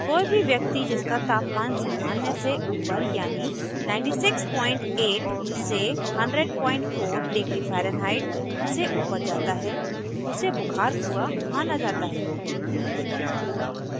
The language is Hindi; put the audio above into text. कोई भी व्यक्ति जिसका तापमान सामान्य से ऊपर यानि 968 से 1004º farenheit से ऊपर जाता है उसे बुखार हुआ माना जाता है